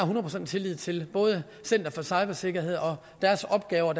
procent tillid til både center for cybersikkerhed og deres opgave og